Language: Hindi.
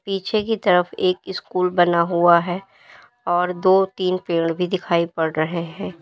पीछे की तरफ एक स्कूल बना हुआ है और दो तीन पेड़ भी दिखाई पड़ रहे है।